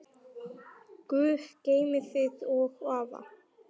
Guð geymi þig og afa.